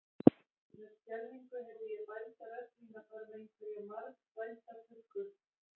Með skelfingu heyrði ég bælda rödd mína fara með einhverja margþvælda tuggu.